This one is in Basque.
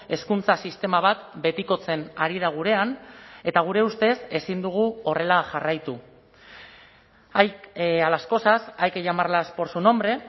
hezkuntza sistema bat betikotzen ari da gurean eta gure ustez ezin dugu horrela jarraitu a las cosas hay que llamarlas por su nombre